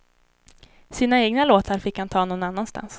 Sina egna låtar fick han ta någon annanstans.